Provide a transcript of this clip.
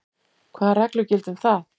Hvað reglur gilda um það?